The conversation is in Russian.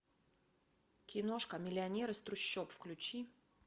киношка миллионер из трущоб включи